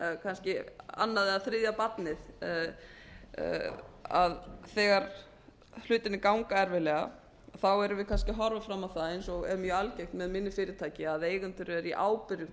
kannski annað eða þriðja barnið þegar hlutirnir ganga erfiðlega erum við kannski að horfa fram á það eins og er mjög algengt með minni fyrirtæki að eigendur eru í ábyrgðum